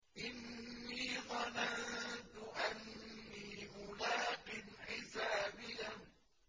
إِنِّي ظَنَنتُ أَنِّي مُلَاقٍ حِسَابِيَهْ